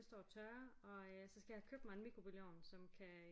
Det står og tørrer og så skal jeg have købt mig en mikrobølgeovn som kan